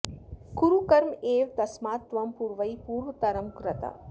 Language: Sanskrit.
कुरु कर्म एव तस्मात् त्वम् पूर्वैः पूर्वतरम् कृतम्